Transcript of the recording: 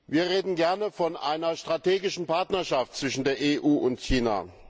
Wir reden gerne von einer strategischen Partnerschaft zwischen der EU und China.